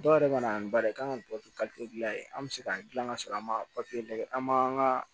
Dɔw yɛrɛ mana n b'a ye k'an ka dilan yen an bɛ se ka dilan ka sɔrɔ an ma lajɛ an ma